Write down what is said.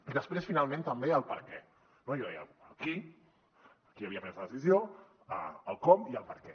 i després finalment també el perquè no jo deia el qui qui havia pres la decisió el com i el perquè